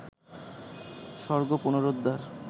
স্বর্গ পুনরুদ্ধার